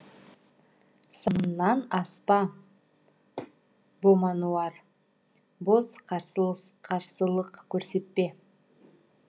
сабаңнан аспа бомануар бос қарсылық көрсетпе